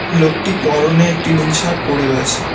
লোকটি পরনে একটি নীল শার্ট পরে রয়েছে।